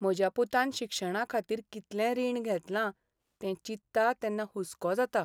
म्हज्या पुतान शिक्षणाखातीर कितलें रीण घेतलां तें चिंत्तां तेन्ना हुस्को जाता.